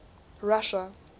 russia